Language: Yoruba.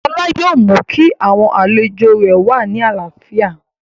Lọlá yóò mú kí àwọn àlejò rẹ̀ wà ní àlàáfíà